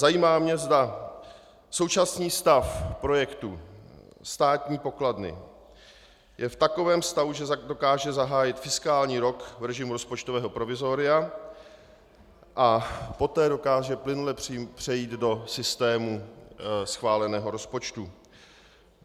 Zajímá mě, zda současný stav projektu státní pokladny je v takovém stavu, že dokáže zahájit fiskální rok v režimu rozpočtového provizoria a poté dokáže plynule přejít do systému schváleného rozpočtu.